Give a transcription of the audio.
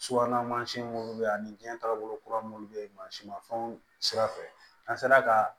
Subahana mansin minnu bɛ yen ani jiyɛn taagabolo kura minnu bɛ yen mansinmafɛnw sira fɛ an sera ka